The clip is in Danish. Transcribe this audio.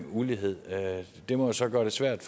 ulighed det må jo så gøre det svært